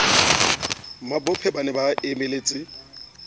mabophe ba ne ba emeletse